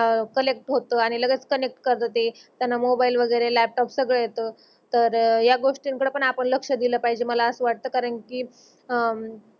अह कनेक्ट होत आणि लगेच कनेक्ट करत ते त्यान्हा मोबाईल वगेरे लापटोप सगळ येत. तर ह्या गोष्टी थोड पण आपण लक्ष दिल पाहिजे मला अस वाटतंय कारण कि अं